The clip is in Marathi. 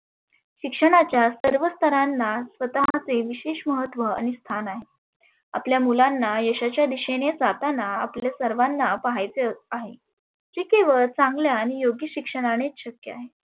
शिक्षणाच्या सर्व स्थरांना स्वतःचे विषेश महत्व आणि स्थान आहे. आपल्या मुलांना यशाच्या दिशेने जाताना आपले सर्वांना पहायचे आहे. जी के वर चांगल्या आणि योग्य शिक्षणानेच शक्य आहे.